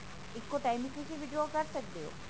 ਇੱਕੋ time ਵਿੱਚ ਤੁਸੀਂ withdraw ਕਰ ਸਕਦੇ ਹੋ